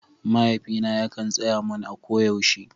Mahaifina yakan tsaya mun a ko yaushe